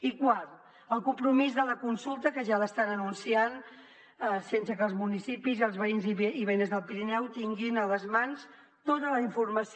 i quart el compromís de la consulta que ja l’estan anunciant sense que els municipis i els veïns i veïnes del pirineu tinguin a les mans tota la informació